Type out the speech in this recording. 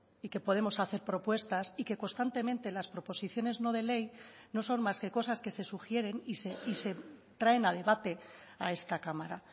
y que podemos hacer propuestas y que constantemente las proposiciones no de ley no son más que cosas que se sugieren y se traen a debate a esta cámara